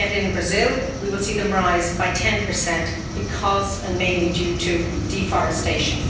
Yet in Brazil, we will see them rise by 10 because, and mainly due to, deforestation.